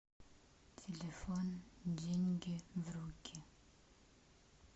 телефон деньги в руки